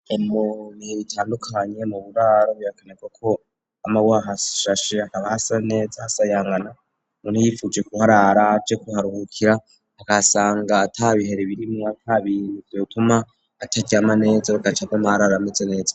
Emobihe ritandukanye mu buraro buyakanekako ama waha shashe akaba hasa neza hasayangana muntu yifuje kuho araraje kuharuhukira akasanga ata bihere birimwo atabiizwa bituma ataryama neza rugacada mari arameze neza.